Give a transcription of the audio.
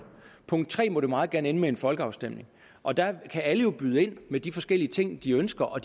punkt tre så må det meget gerne ende med en folkeafstemning og der kan alle jo byde ind med de forskellige ting de ønsker og